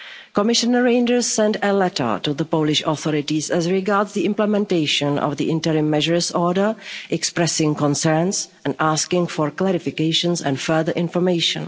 Commissioner Reynders sent a letter to the Polish authorities regarding the implementation of the interim measures order, expressing concerns and asking for clarifications and further information.